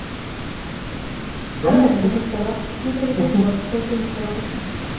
ভাল লাগে hostel ত মোৰ যে আজিকালি ঘৰতকে বেছি hostel তে ভাল লাগে